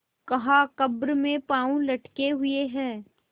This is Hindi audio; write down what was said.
कहाकब्र में पाँव लटके हुए हैं